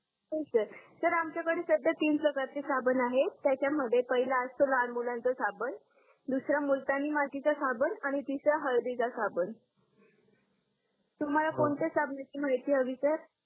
हो सर आमच्याकडे सध्या तीन प्रकारचे साबण आहेत त्याचा मध्ये पहिला असतो लहान मुलांचा साबण दुसरा मुलतानी मातीचा साबण आणि तिसरा हळदीचा साबण तुम्हाला कोणत्या होका साबणाची माहिती हवी सर